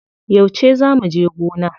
Yauce zaa muje gona?